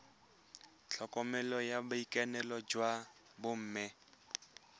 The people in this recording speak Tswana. tlhokomelo ya boitekanelo jwa bomme